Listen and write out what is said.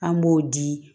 An b'o di